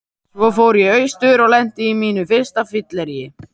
Svo fór ég austur og lenti á mínu fyrsta fylleríi.